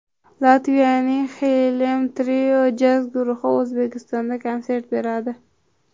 Latviyaning Xylem Trio jazz guruhi O‘zbekistonda konsert beradi.